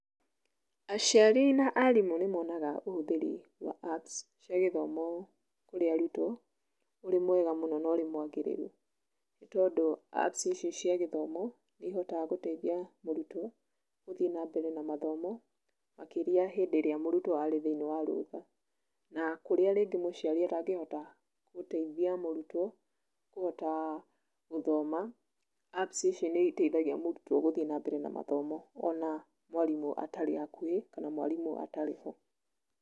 Aciari na aarimũ nĩ monaga ũhũthĩri wa apps cia gĩthomo kũrĩ arutwo ũrĩ mwega mũno na ũrĩ mwagĩrĩru, nĩ tondũ apps ici cia gĩthomo nĩ ihotaga gũteithia mũrutwo gũthiĩ na mbere na mathomo makĩria hĩndĩ ĩrĩa mũrutwo arĩ thĩiniĩ wa rũtha, na kũrĩa rĩngĩ mũciari atangĩhota gũteithia mũrutwo kũhota gũthoma, apps icio nĩ ĩteithagia mũrutwo gũthiĩ na mbere na mathomo ona mwarimũ atarĩ hakuhĩ kana mwarimũ atarĩ ho.